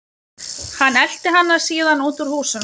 Hann elti hana síðan út úr húsinu.